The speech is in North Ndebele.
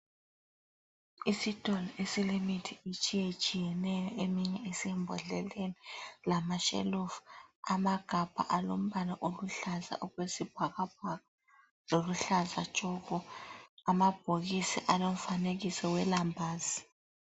Isitolo esilemithi etshiye tshiyeneyo eminye isembodleleni. Lama shelufu ,amagabha alombala oluhlaza okwesibhakabhaka oluhlaza tshoko. Amabhokisi alomfanekiso welambazi.